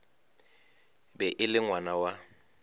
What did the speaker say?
be e le ngwana wa